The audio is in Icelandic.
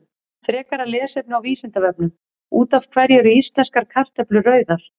Frekara lesefni á Vísindavefnum: Út af hverju eru íslenskar kartöflur rauðar?